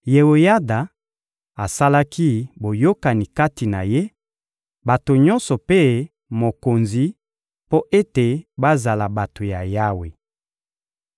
Yeoyada asalaki boyokani kati na ye, bato nyonso mpe mokonzi, mpo ete bazala bato ya Yawe.